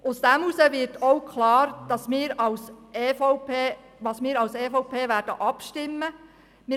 Daraus wird auch klar, wie wir als EVP abstimmen werden.